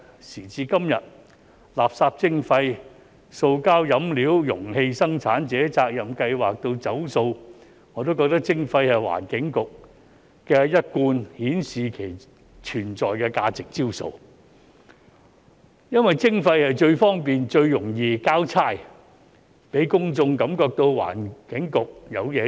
時至今日，垃圾徵費、塑膠飲料容器生產者責任計劃以至"走塑"，我也覺得徵費是環境局一貫顯示其存在價值的招數，因為徵費最方便、最容易"交差"，讓公眾感覺到環境局有做事。